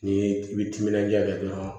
Ni i bi timinanja kɛ dɔrɔn